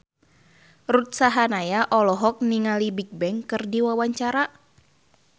Ruth Sahanaya olohok ningali Bigbang keur diwawancara